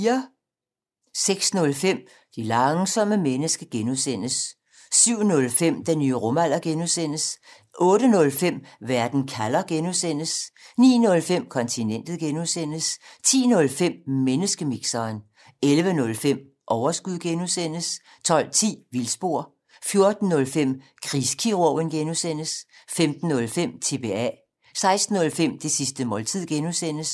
06:05: Det langsomme menneske (G) 07:05: Den nye rumalder (G) 08:05: Verden kalder (G) 09:05: Kontinentet (G) 10:05: Menneskemixeren 11:05: Overskud (G) 12:10: Vildspor 14:05: Krigskirurgen (G) 15:05: TBA 16:05: Det sidste måltid (G)